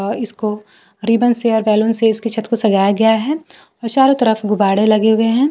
और इसको रिबन से और बैलून से इसकी छत को सजाया गया है और चारों तरफ गुब्बाड़े लगे हुए हैं।